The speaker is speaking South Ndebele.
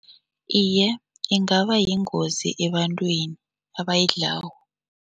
Iye, ingaba yingozi ebantwini abayidlako.